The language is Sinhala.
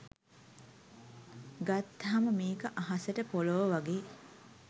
ගත්තහම මේක අහසට පොලොව වගේ